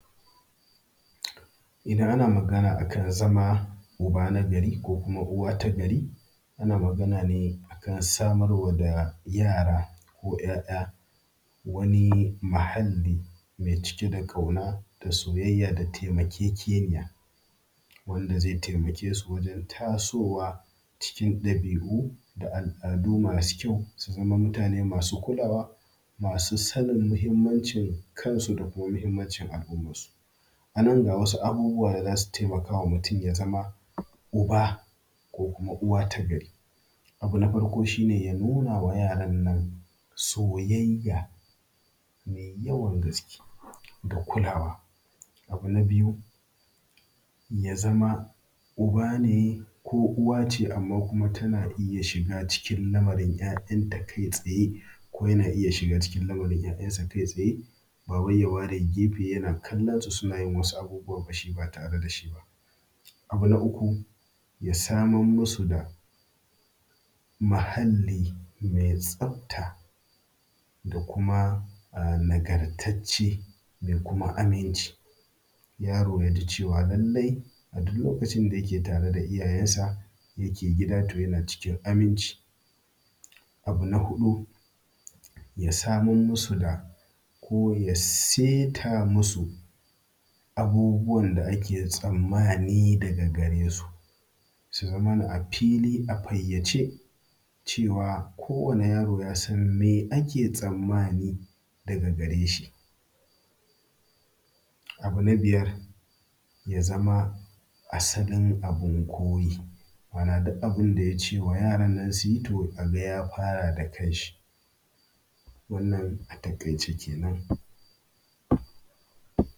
Idan ana magana a kan zama uba nagari ko uwa ta gari ana magana ne akan samar wa da yara ko 'ya'ya wani mahalli mai cike da ƙyauna da soyayya da taimakekeniya, wanda zai taimake su wajen tasowa cikin dabi'u da al'adu masu kyau su zama mutane masu kulawa masu sanin muhinmancin kansu da muhinmancin al'umman su. Anan ga wasu abubuwan da za su taimaka ma mutum ya zama uba ko kuma uwa ta gari. Abu na farko shi ne ya nuna ma yaran nan soyayya mai yawan gaske da kulawa. Abu na biyu, ya zama uba ne ko uwa ce amma kuma tana iya shiga cikin lamarin 'ya'yanta kai tsaye ko yana iya shiga lamarin 'ya'yansa kai tsaye ba wai ya ware gefe yana kallansu suna yin wasu abubuwa ba tare da shi ba. Abu na uku, ya samar ma su da muhalli mai tsafta da kuma nagartacce mai kuma aminci, yaro yaji cewa lallai a duk lokacin da yake tare da iyayensa yake gida to yana cikin aminci. Abu na hudu, ya samar masu da ko ya saita masu abubuwan da ake tsammani daga gare su, su zamana a fili a fayyace cewa ko wani yaro yasan me ake tsammani daga gare shi. Abu na biyar, ya zama asalin abin koyi ma'ana duk abinda yace ma yarannan su yi a ga ya fara da kan shi wannan a taƙaice kenan.